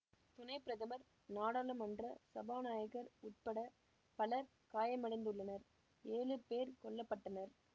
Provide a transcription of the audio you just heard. துணை பிரதமர் நாடாளுமன்ற சபாநாயகர் உட்பட பலர் காயமடைந்துள்ளனர் ஏழு பேர் கொல்ல பட்டனர்